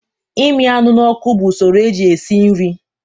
Imi anụ n'ọkụ bụ usoro eji esi nri